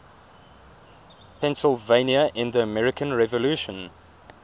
pennsylvania in the american revolution